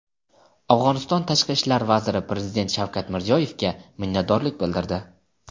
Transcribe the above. Afg‘oniston tashqi ishlar vaziri prezident Shavkat Mirziyoyevga minnatdorlik bildirdi.